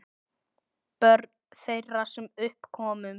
Börn þeirra, sem upp komust